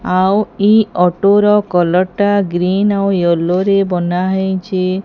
ଆଉ ଏହି ଅଟୋ ର କଲର୍ ଟା ଗ୍ରୀନ ଆଉ ୟେଲୋ ରେ ବନା ହେଇଛି।